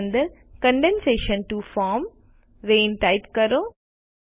તે અંદર condensation to form rain type કરો